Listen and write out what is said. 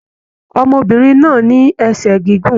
Ọmọbìnrin náà ní ẹsẹ gígùn.